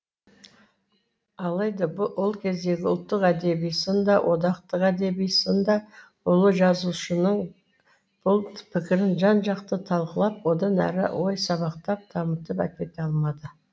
алайда ол кездегі ұлттық әдеби сын да одақтық әдеби сын да ұлы жазушының бұл пікірін жан жақты талқылап одан әрі ой сабақтап дамытып әкете алмады